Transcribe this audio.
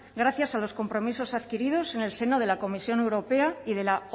gracias a los compromisos adquiridos en el seno de la comisión europea y de la